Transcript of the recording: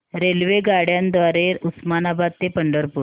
रेल्वेगाड्यां द्वारे उस्मानाबाद ते पंढरपूर